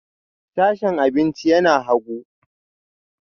Sashen abinci yana hagu